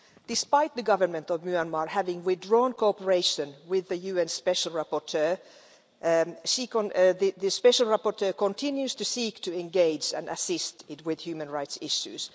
Despite the Government of Myanmar having withdrawn cooperation with the UN special rapporteur, the special rapporteur continues to seek to engage and assist with human rights issues.